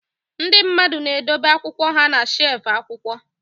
Ndị mmadụ na-edobe akwụkwọ ha na shelf akwụkwọ